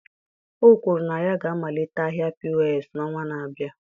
O kwuru na ya ga-amalite ahịa POS n'ọnwa na-abịa